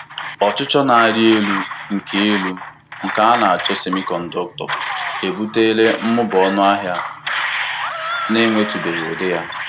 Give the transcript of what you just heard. Ọchịchọ na-arị elu nke elu nke a na achọ semiconductor ebutela mmụba ọnụahịa na-enwetụbeghị ụdị ya.